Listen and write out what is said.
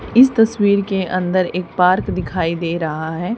इस तस्वीर के अंदर एक पार्क दिखाई दे रहा है।